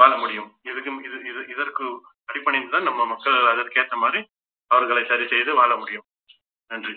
வாழ முடியும் இதுக்கும் இது இது இதற்கு அடிபணிந்தால் நம்ம மக்கள் அதற்கு ஏத்த மாதிரி அவர்களை சரி செய்து வாழ முடியும் நன்றி